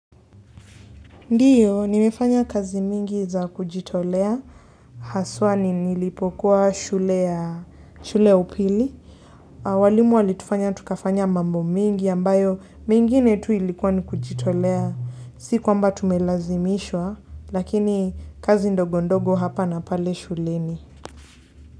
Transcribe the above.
Ndiyo, nimefanya kazi mingi za kujitolea. Haswa nilipokuwa shule ya upili. Na walimu walitufanya tukafanya mambo mingi, ambayo mingine tu ilikuwa ni kujitolea. Si kwamba tumelazimishwa, lakini kazi ndogondogo hapa na pale shuleni.